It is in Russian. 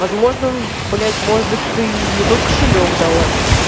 возможно блять может быть ты не тот кошелёк дала